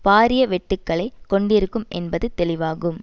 பாரிய வெட்டுக்களை கொண்டிருக்கும் என்பது தெளிவாகும்